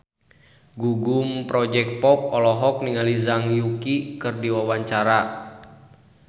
Gugum Project Pop olohok ningali Zhang Yuqi keur diwawancara